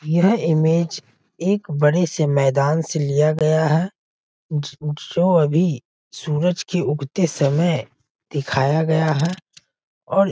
यह इमेज एक बड़े से मैदान से लिया गया हैं ज जो अभी सूरज के उगते समय दिखाया गया हैं और --